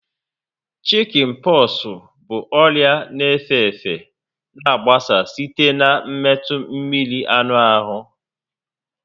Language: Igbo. Shikin poxu bụ ọrịa na efe efe na agbasa site na metụ mmiri anụ ahụ